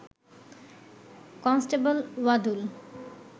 constable Wadul